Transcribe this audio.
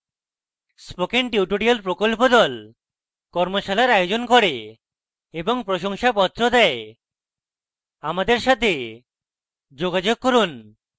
spoken tutorial প্রকল্প the কর্মশালার আয়োজন করে এবং প্রশংসাপত্র the আমাদের সাথে যোগাযোগ করুন